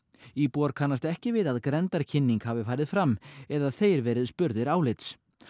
íbúar kannast ekki við að grenndarkynning hafi farið fram eða þeir verið spurðir álits